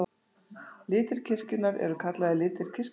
Litir kirkjunnar eru kallaðir litir kirkjuársins.